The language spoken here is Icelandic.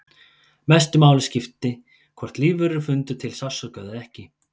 Mestu máli skipti hvort lífverur fyndu til sársauka eða ekki.